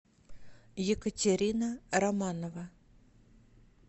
екатерина романова